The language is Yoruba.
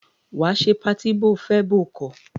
Wàá ṣe patí bóo fẹ́ bóo kọ̀!